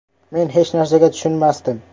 “Men hech narsaga tushunmasdim.